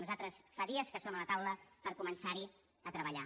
nosaltres fa dies que som a la taula per començar hi a treballar